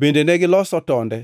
Bende negiloso tonde